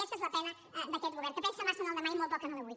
aquesta és la pena d’aquest govern que pensa massa en el demà i molt poc en l’avui